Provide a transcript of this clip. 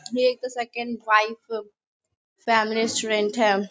एक second wife family restaurant है।